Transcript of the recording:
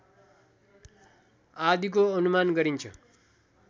आदिको अनुमान गरिन्छ